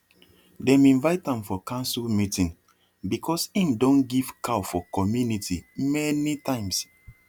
dem invite am for council meeting because him don give cow for community many times